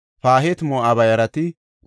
Zaatu yarati 845;